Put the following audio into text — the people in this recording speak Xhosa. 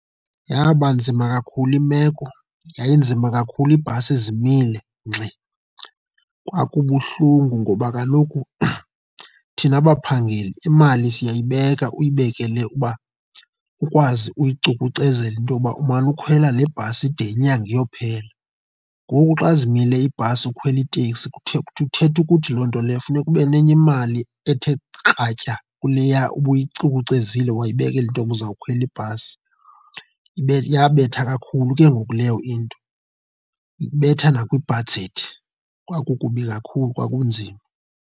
Yaba nzima kakhulu imeko, yayinzima kakhulu iibhasi zimile ngxi. Kwakubuhlungu ngoba kaloku thina baphangeli imali siyayibeka, uyibekele uba ukwazi uyicukucezela into yokuba umane ukhwela le bhasi ide nyanga iyophela, ngoku xa zimile iibhasi ukhwela iiteksi kuthetha ukuthi loo nto leyo funeka ube nenye imali ethe kratya kuleya ubuyicukucezile wayibekala intoba uzawukhwela ibhasi. Ibe yabetha kakhulu ke ngoku leyo into, ibetha nakwibhajethi. Kwakukubi kakhulu kwakunzima.